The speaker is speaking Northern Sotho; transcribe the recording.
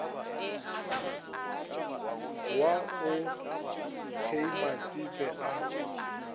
wa o k matsepe a